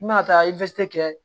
N bɛna taa kɛ